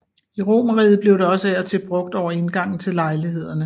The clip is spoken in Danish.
I romerriget blev det også af og til brugt over indgangen til lejlighederne